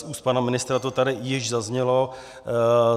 Z úst pana ministra to tady již zaznělo.